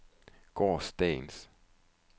gårsdagens